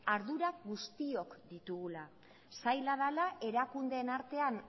ardurak guztiok ditugula zaila dela erakundeen artean